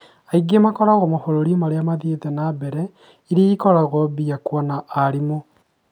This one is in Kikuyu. Aingĩ makoragwa mabũrũri arĩa mathiĩte na mbere iria ikoragwo binya kũona arimũ